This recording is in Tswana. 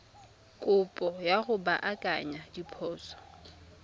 kopo ya go baakanya diphoso